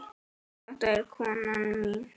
Þetta er konan mín.